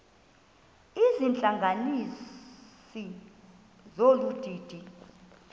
izihlanganisi zolu didi